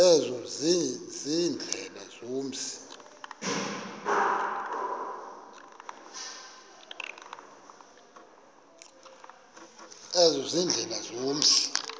ezo ziindlela zomzi